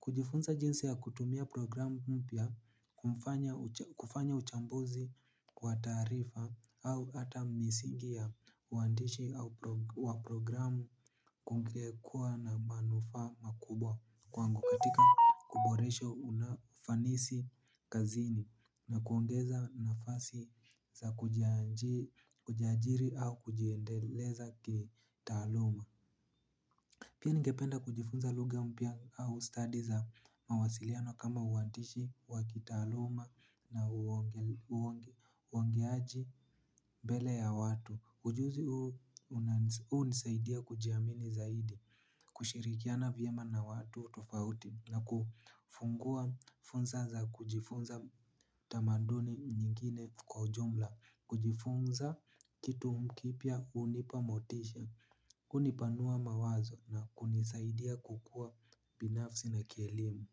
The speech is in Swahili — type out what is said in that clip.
Kujifunza jinsi ya kutumia programu mpya kwa mfano kufanya uchambuzi kwa taarifa au hata misingi ya uandishi au wa programu kungekuwa na manufaa makubwa kwangu katika kuboresha unafanisi kazini na kuongeza nafasi za kujiajiri au kujiendeleza kitaaluma. Pia nigependa kujifunza lugha mpya au stadi za mawasiliano kama uantishi, wakitaaluma na uongeaji mbele ya watu. Ujuzi huu hunisaidia kujiamini zaidi, kushirikiana vyema na watu tofauti na kufungua funza za kujifunza tamaduni nyingine kwa ujumla. Kujifunza kitu mkipya unipamotisha. Hunipanua mawazo na kunisaidia kukua binafsi na kielimu.